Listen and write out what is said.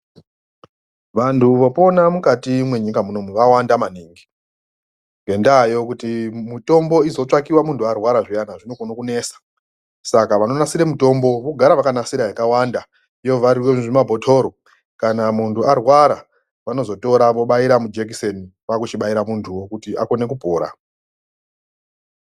Vantu vopona mukati mwenyika munomu vawanda maningi ngendaa yekuti mitombo izotsvakiwa muntu arwara zviyani inonesa saka vanonasira mitombo vanogara vakanasira yakawanda wovharirwa muzvimabhitoro kana muntu arwara vanotora vobaira mujekuseni kwakuchibaira muntu kuti aone kupora.